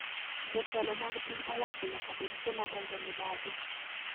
Jotelo mag piny owacho nyaka bed joma onge mibadhi